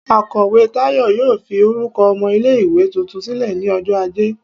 Akọwe Tayo yóò fí orukọ ọmọ ile-iwe túntún silẹ ni ọjọ ajé